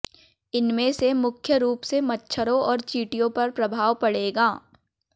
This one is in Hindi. इनमें से मुख्य रूप से मच्छरों और चींटियों पर प्रभाव पड़ेगा